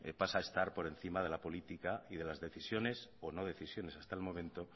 pase a estar por encima de la política y de las decisiones o no decisiones hasta el momento